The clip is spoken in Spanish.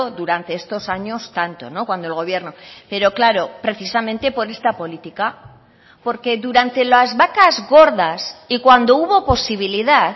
durante estos años tanto cuando el gobierno pero claro precisamente por esta política porque durante las vacas gordas y cuando hubo posibilidad